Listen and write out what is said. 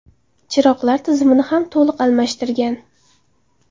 Chiroqlar tizimini ham to‘liq almashtirgan.